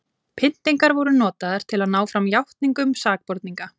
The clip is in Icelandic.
pyntingar voru notaðar til að ná fram játningum sakborninga